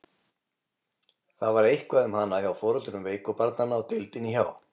Það var eitthvað um hana hjá foreldrum veiku barnanna á deildinni hjá